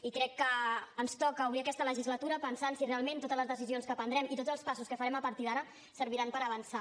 i crec que ens toca obrir aquesta legislatura pensant si realment totes les decisions que prendrem i tots els passos que farem a partir d’ara serviran per avançar